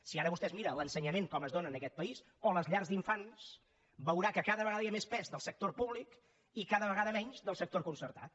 si ara vostè es mira l’ensenyament com es dóna en aquest país o les llars d’infants veurà que cada vegada hi ha més pes del sector públic i cada vegada menys del sector concertat